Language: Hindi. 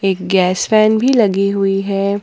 एक गैस फैन भी लगी हुई है।